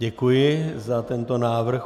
Děkuji za tento návrh.